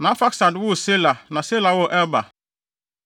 Na Arfaksad woo Sela na Sela woo Eber.